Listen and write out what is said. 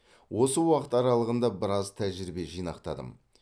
осы уақыт аралығында біраз тәжірибе жинақтадым